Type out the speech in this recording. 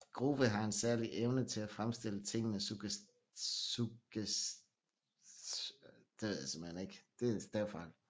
Grove har en særlig Evne til at fremstille Tingene suggererende